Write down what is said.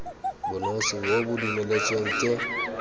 bonosi bo bo dumeletsweng ke